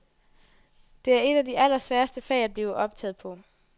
Det er et af de allersværeste fag at blive optaget på.